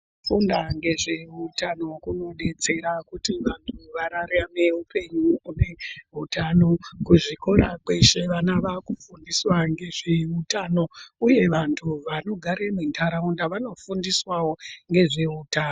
Kufunda ngezveutano kunodetsera kuti vantu vararame hupenyu hune utano, kuzvikora kweshe vana vakufundiswa ngezveutano uye vantu vanogare muntaraunda vanofundiswawo ngezveutano.